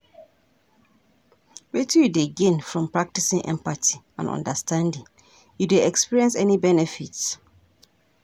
Wetin you dey gain from practicing empathy and understanding, you dey experience any benefits?